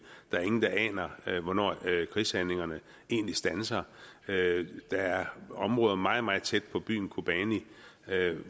der er ingen der aner hvornår krigshandlingerne egentlig standser der er områder meget meget tæt på byen kobani